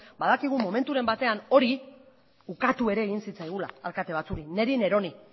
badakigu momenturen batean hori ukatu ere egin zitzaigula alkate batzuei niri neroni